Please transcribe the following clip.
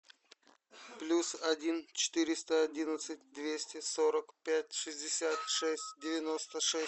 плюс один четыреста одиннадцать двести сорок пять шестьдесят шесть девяносто шесть